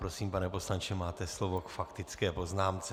Prosím, pane poslanče, máte slovo k faktické poznámce.